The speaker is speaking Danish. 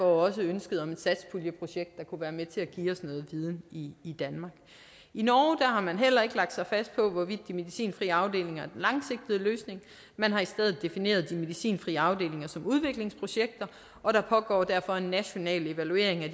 også ønsket om et satspuljeprojekt der kunne være med til at give os noget viden i i danmark i norge har man heller ikke lagt sig fast på hvorvidt de medicinfrie afdelinger er den langsigtede løsning man har i stedet defineret de medicinfrie afdelinger som udviklingsprojekter og der pågår derfor en national evaluering af